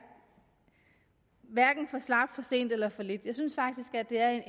for slapt for sent eller for lidt jeg synes faktisk at det er